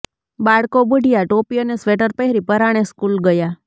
બાળકો બુઢિયા ટોપી અને સ્વેટર પહેરી પરાણે સ્કૂલ ગયાં